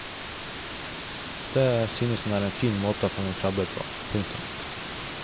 Det synes han er en fin måte å fange krabber på. punktum